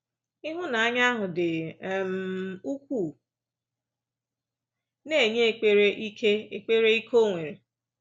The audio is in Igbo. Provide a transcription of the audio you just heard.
Ịhụnanya ahụ dị um ukwuu na-enye ekpere ike ekpere ike o nwere.